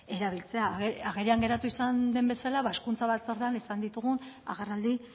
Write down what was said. erabiltzea agerian geratu izan den bezala hezkuntza batzordean izan ditugun agerraldi